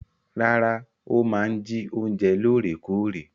Rárá, ó máa ń jí oúnjẹ lóòrèkóòrè.